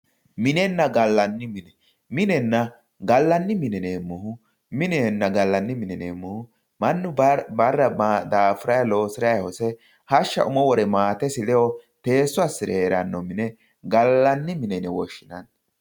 minenna gallanni mine minenna gallanni mine yineemu mannu bara dafurayi loosiray hose hashsha umo wore maatesi lewo teesso assire heeranno mine gallanni mine yine woshinanni